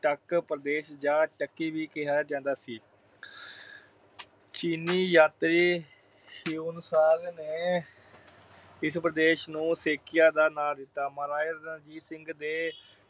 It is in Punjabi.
ਟੱਕ ਪ੍ਰਦੇਸ਼ ਜਾਂ ਟੱਕੀ ਵੀ ਕਿਹਾ ਜਾਂਦਾ ਸੀ। ਆਹ ਚੀਨੀ ਯਾਤਰੀ ਹਿਊਨ-ਸਾਂਗ ਨੇ ਇਸ ਪ੍ਰਦੇਸ਼ ਨੂੰ ਸੇਕੀਆ ਦਾ ਨਾਮ ਦਿੱਤਾ। ਮਹਾਰਾਜਾ ਰਣਜੀਤ ਸਿੰਘ ਦੇ